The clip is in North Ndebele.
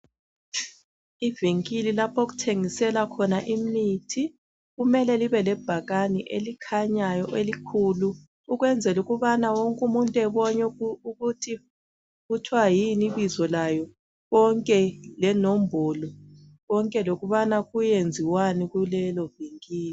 Ivinkili lapho okuthengiselwa khona imithi, kumele libe lebhakane elikhanyayo elikhulu ukwenzela ukubana wonke umuntu ebone ukuthi kuthwa yini ibizo layo konke lenombolo konke lokubana kuyenziwani kulelo vinkili.